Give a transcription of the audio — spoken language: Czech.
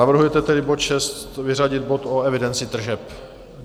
Navrhujete tedy bod 6 vyřadit bod o evidenci tržeb.